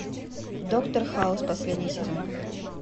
доктор хаус последний сезон